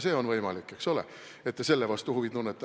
On võimalik, eks ole, et te ka selle vastu huvi tunnete.